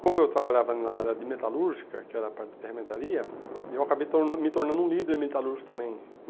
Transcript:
Como eu trabalhava na área de metalúrgica, que era a parte da ferramentaria, eu acabei tornando me tornando um líder em metalúrgica também.